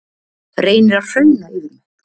Reynir að hrauna yfir mig